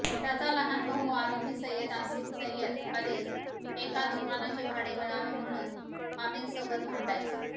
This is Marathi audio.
त्याचा लहान भाऊ आरोपी सय्यद आसिफ सय्यद अली एका दुकानाचे भाडे मिळावे म्हणून अमिनसोबत भांडायचा